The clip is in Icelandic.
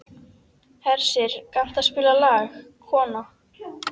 Hersir, kanntu að spila lagið „Kona“?